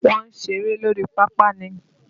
Wọ́n ń ṣeré lórí pápá ni.